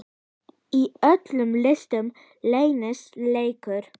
Í öllum listum leynist leikur.